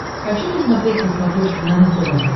хочу посмотреть на смотрешке нано тв